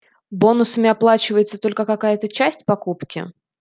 бонусами оплачивается только какая-то часть покупки